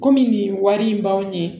Komi nin wari in b'anw ye